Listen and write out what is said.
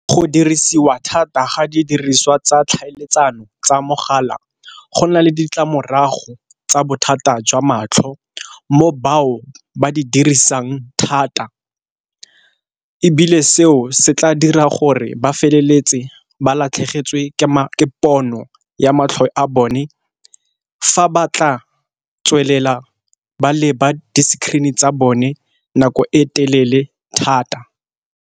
Go dirisiwa thata ga di diriswa tsa tlhaeletsano tsa mogala go na le ditlamorago tsa bothata jwa matlho, mo bao ba di dirisang thata. Ebile seo se tla dira gore ba feleletse ba latlhegetswe ke pono ya matlho a bone fa ba tla tswelela ba leba di-screen-e tsa bone nako e telele thata.